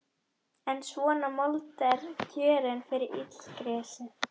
En svona mold er kjörin fyrir illgresi.